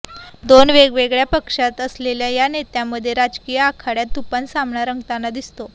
दोन वेगवेगळ्या पक्षात असलेल्या या नेत्यांमध्ये राजकीय आखाड्यात तुफान सामना रंगताना दिसतो